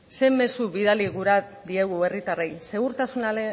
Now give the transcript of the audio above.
ze mezu bidali gura diegu herritarrei